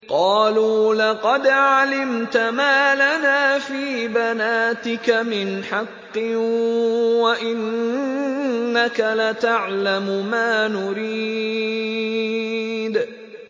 قَالُوا لَقَدْ عَلِمْتَ مَا لَنَا فِي بَنَاتِكَ مِنْ حَقٍّ وَإِنَّكَ لَتَعْلَمُ مَا نُرِيدُ